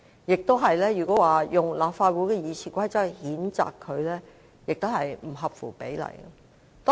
如果引用立法會《議事規則》來譴責他，亦不合乎比例。